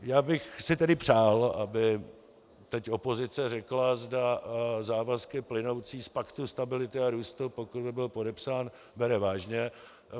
Já bych si tedy přál, aby teď opozice řekla, zda závazky plynoucí z Paktu stability a růstu, pokud by byl podepsán, bere vážně.